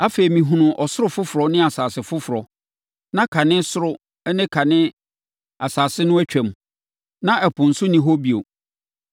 Afei, mehunuu ɔsoro foforɔ ne asase foforɔ, na kane ɔsoro ne kane asase no atwam, na ɛpo nso nni hɔ bio.